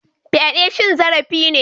Fyade cin zarafi ne.